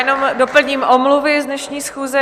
Jenom doplním omluvy z dnešní schůze.